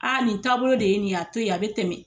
Aa nin taabolo de ye nin ye a to ye a be tɛmɛ